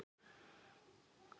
Sumarið boðar komu sína.